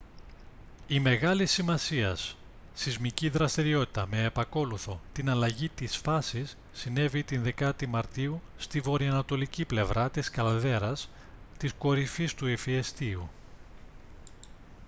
η μεγάλης σημασίας σεισμική δραστηριότητα με επακόλουθο την αλλαγή της φάσης συνέβη τη 10η μαρτίου στη βορειανατολική πλευρά της καλδέρας της κορυφής του ηφαιστείου